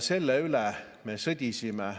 Sellepärast me sõdisime.